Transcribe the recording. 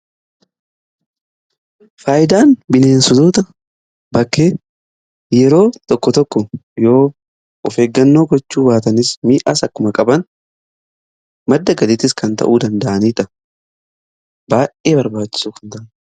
Faayidaan bineensota bakkee yeroo tokko tokko yoo of eeggannoo gochuu baatanis miidhaas akkuma qaban madda galiittis kan ta'uu danda'aniidha. Baay'ee barbaachisoo kan ta'anidha.